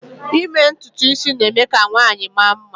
ime ntutu isi na-eme ka nwanyị mara mma